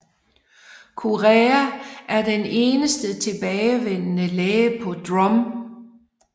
Kureha er den eneste tilbageværende læge på Drum